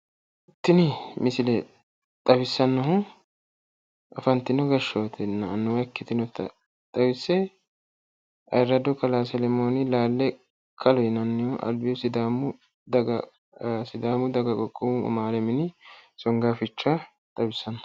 Tini misile xawissannohu afantino gashshootenna annuwa ikkitinota xawise ayyrado kalaa selemooni laale kalo yinannihu albihu sidaamu daga qoqqowu amaale mini songaaficha xawisanno.